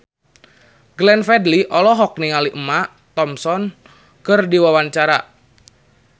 Glenn Fredly olohok ningali Emma Thompson keur diwawancara